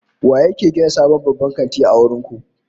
Waye yake gina sabon babban kanti a garin ku?